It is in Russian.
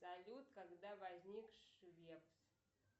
салют когда возник швец